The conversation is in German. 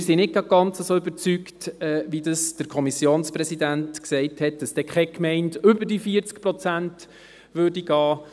Wir sind nicht ganz überzeugt, wie es der Kommissionpräsident sagte, dass keine Gemeinde über die 40 Prozent ginge.